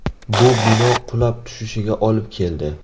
Bu bino qulab tushishiga olib keldi.